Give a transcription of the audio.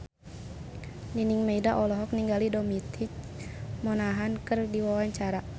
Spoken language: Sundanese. Nining Meida olohok ningali Dominic Monaghan keur diwawancara